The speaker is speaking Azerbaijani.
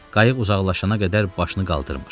Qayıq uzaqlaşana qədər başını qaldırmır.